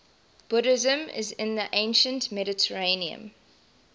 buddhism in the ancient mediterranean